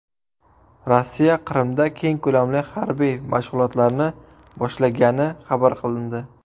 Rossiya Qrimda keng ko‘lamli harbiy mashg‘ulotlarni boshlagani xabar qilindi.